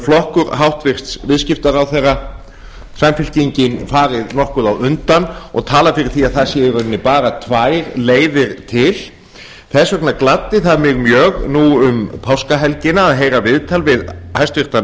flokkur hæstvirtur viðskiptaráðherra samfylkingin farið nokkuð á undan og talað fyrir því að það séu í raun og veru bara tvær leiðir til þess vegna gladdi það mig mjög nú um páskahelgina að heyra viðtal við hæstvirtur